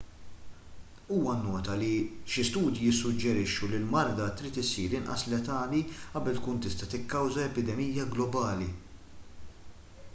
huwa nnota li xi studji jissuġġerixxu li l-marda trid issir inqas letali qabel tkun tista' tikkawża epidemija globali